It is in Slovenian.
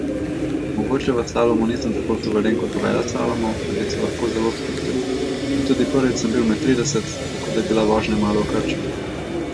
Mogoče v slalomu nisem toliko suveren kot v veleslalomu, da bi se lahko zelo sprostil, pa tudi prvič sem bil med trideset, tako da je bila vožnja malo v krču.